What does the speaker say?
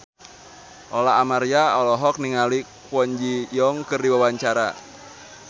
Lola Amaria olohok ningali Kwon Ji Yong keur diwawancara